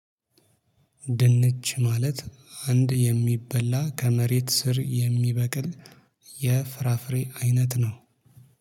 ድንች ማለት አንድ የሚበላ ከመሬት ስር የሚበቅል የፍራፍሬ አይነት ነው